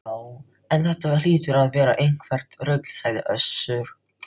Já, en þetta hlýtur að vera eitthvert rugl, sagði Össur